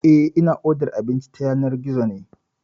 Eh, ina odar abinci ta yanar gizo ne.